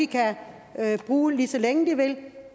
kan bruge lige så længe de vil